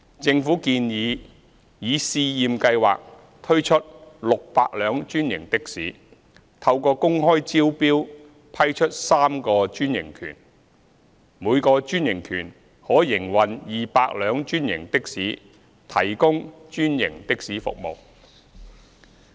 政府建議以試驗計劃推出600輛專營的士，透過公開招標批出3個專營權，每個專營權可營運200輛專營的士提供專營的士服務。